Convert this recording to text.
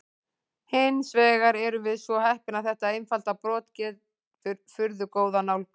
Hins vegar erum við svo heppin að þetta einfalda brot gefur furðu góða nálgun.